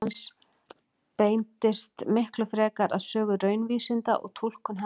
Áhugi hans beindist miklu fremur að sögu raunvísinda og túlkun hennar.